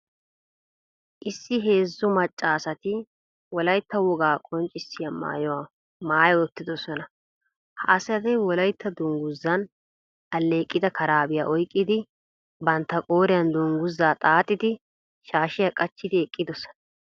Issi heezzu macca asati Wolaytta wogaa qonccissiya maayuwa maayi uttidosona. Ha asati Wolaytta dungguzan alleeqida karaabiya oyqqidi, bantta qooriyan dungguzaa xaaxidi shaashiya qachchidi eqqidosona.